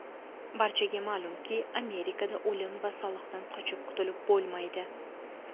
Barchaga ma’lumki, Amerikada o‘lim va soliqdan qochib qutulib bo‘lmaydi.